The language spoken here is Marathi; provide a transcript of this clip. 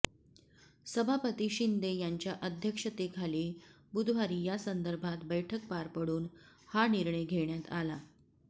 सभापती शिंदे यांच्या अध्यक्षतेखाली बुधवारी यासंदर्भात बैठक पार पडून हा निर्णय घेण्यात आला